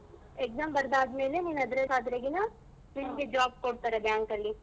Exam ಬರ್ದಾದ್ಮೇಲೆ ನೀನ್ ಅದ್ರಲ್ job ಕೊಡ್ತಾರೆ bank ಅಲ್ಲಿ.